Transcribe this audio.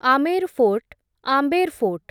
Amer fort, Amber fort